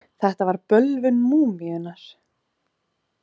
Þetta var bölvun múmíunnar.